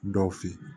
Dɔw fe yen